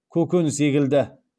көкөніс егілді